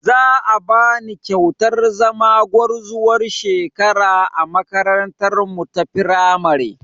Za a bani kyautar zama gwarzuwar shekara a makarantarmu ta firamare